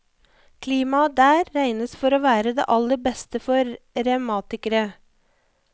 Klimaet der regnes for å være det aller beste for revmatikere.